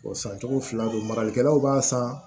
san cogo fila re don maralikɛlaw b'a san